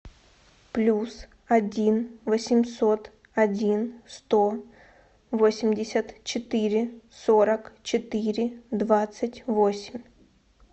плюс один восемьсот один сто восемьдесят четыре сорок четыре двадцать восемь